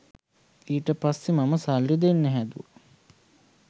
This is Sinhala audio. ඊට පස්සේ මම සල්ලි දෙන්න හැදුව